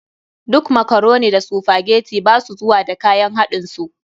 Duk makaroni da sphagetii ba su zuwa da kayan haɗin su.